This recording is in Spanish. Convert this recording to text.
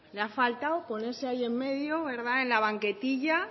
le ha faltado ponerse ahí en medio en la banquetilla